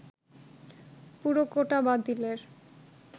পুরো কোটা বাতিলের